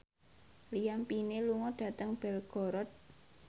Liam Payne lunga dhateng Belgorod